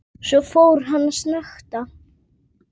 Svo fór hann að snökta.